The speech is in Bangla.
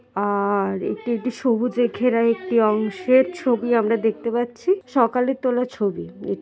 আ-র এটি একটি সবুজের ঘেরা একটি অংশ এর ছবি আমরা দেখতে পাচ্ছি সকালে তোলা ছবি। এ--